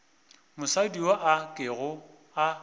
mosadi yo a kego a